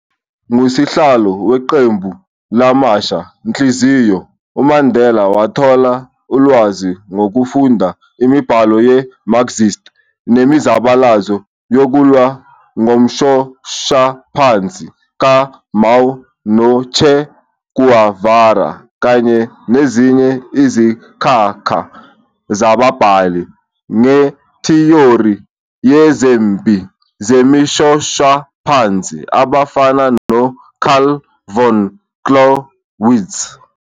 Ngokuba ngusihlalo wequmbu lamasha-nhliziyo, uMandela wathola ulwazi ngokufunda imibhalo ye-Marxist nemizabalazo yokulwa ngomshoshaphansi ka-Mao no-Che Guevara kanye nezinye izinkakha zababhali ngethiyori yezempi zemishoshaphansi abafana no- Carl von Clausewitz.